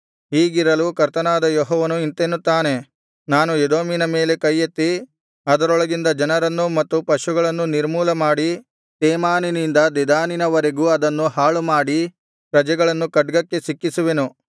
ಹೀಗಿರಲು ಕರ್ತನಾದ ಯೆಹೋವನು ಇಂತೆನ್ನುತ್ತಾನೆ ನಾನು ಎದೋಮಿನ ಮೇಲೆ ಕೈಯೆತ್ತಿ ಅದರೊಳಗಿಂದ ಜನರನ್ನೂ ಮತ್ತು ಪಶುಗಳನ್ನೂ ನಿರ್ಮೂಲಮಾಡಿ ತೇಮಾನಿನಿಂದ ದೆದಾನಿನವರೆಗೂ ಅದನ್ನು ಹಾಳುಮಾಡಿ ಪ್ರಜೆಗಳನ್ನು ಖಡ್ಗಕ್ಕೆ ಸಿಕ್ಕಿಸುವೆನು